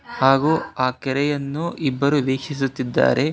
ಹಾಗು ಆ ಕೆರೆಯನ್ನು ಇಬ್ಬರು ವೀಕ್ಷಿಸುತ್ತಿದ್ದಾರೆ.